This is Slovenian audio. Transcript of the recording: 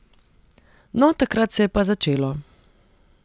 No, takrat se je pa začelo.